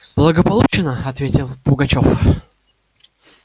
благополучно ответил пугачёв